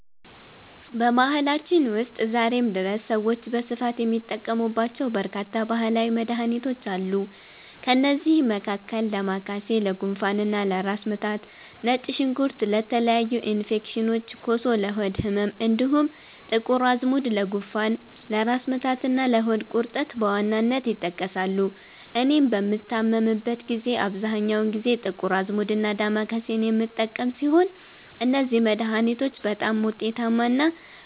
በባህላችን ውስጥ ዛሬም ድረስ ሰዎች በስፋት የሚጠቀሙባቸው በርካታ ባህላዊ መድኃኒቶች አሉ። ከእነዚህም መካከል ዳማከሴ ለጉንፋንና ለራስ ምታት፣ ነጭ ሽንኩርት ለተለያዩ ኢንፌክሽኖች፣ ኮሶ ለሆድ ህመም፣ እንዲሁም ጥቁር አዝሙድ ለጉንፋን፣ ለራስ ምታትና ለሆድ ቁርጠት በዋናነት ይጠቀሳሉ። እኔም በምታመምበት ጊዜ አብዛኛውን ጊዜ ጥቁር አዝሙድና ዳማከሴን የምጠቀም ሲሆን፣ እነዚህ መድኃኒቶች በጣም ውጤታማና